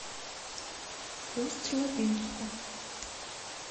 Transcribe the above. усть лабинску